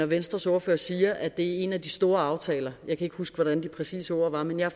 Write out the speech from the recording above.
venstres ordfører siger at det er en af de store aftaler jeg kan huske hvordan de præcise ord var men jeg